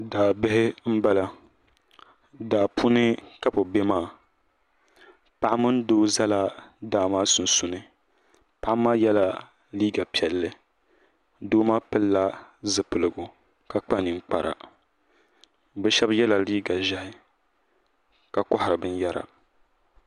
Daa bihi n bala daa puuni ka bi bɛ maa paɣa mini doo zala daa maa sunsuuni paɣa maa yɛla liiga piɛli doo maa pili la zipiligu ka kpa ninkpara bi shɛba ye la liiga ʒɛhi ka kɔhari bina yara.